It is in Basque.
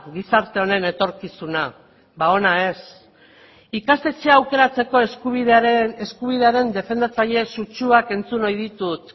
gizarte honen etorkizuna ba ona ez ikastetxea aukeratzeko eskubidearen defendatzaile sutsuak entzun ohi ditut